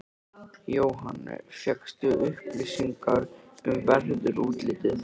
Jóhann: Fékkstu upplýsingar um veðurútlitið?